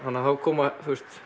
þá koma